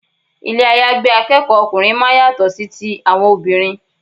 Ilé àyágbé akẹ́kọ̀ọ́ ọkùnrin máa ń yàtọ̀ sí ti àwọn obìnrin.